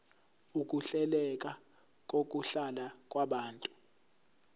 ukuhleleka kokuhlala kwabantu